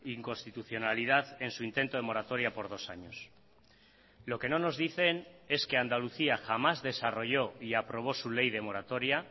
inconstitucionalidad en su intento de moratoria por dos años lo que no nos dicen es que andalucía jamás desarrolló y aprobó su ley de moratoria